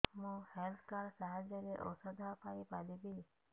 ମୁଁ health card ସାହାଯ୍ୟରେ ଔଷଧ ପାଇ ପାରିବି